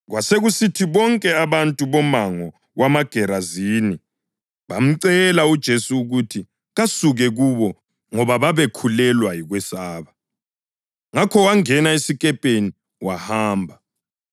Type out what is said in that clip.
Kwasekusithi bonke abantu bomango wamaGerazini bamcela uJesu ukuthi kasuke kubo ngoba babekhulelwa yikwesaba. Ngakho wangena esikepeni wahamba.